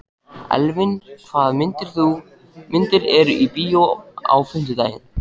Elvin, hvaða myndir eru í bíó á fimmtudaginn?